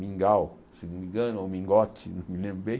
Mingal, se não me engano, ou Mingote, não me lembro bem.